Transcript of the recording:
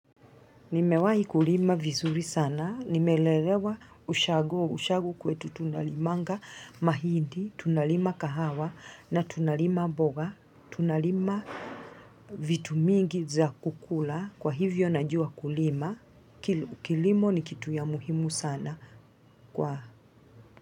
Nimewai kulima vizuri sana, nimelelewa ushago, ushago kwetu huwa tunalima mahindi, tunalima kahawa na tunalima mboga, tunalima vitu vingi vya kukula kwa hivyo najua kulima, kilimo ni kitu ya muhimu sana kwa.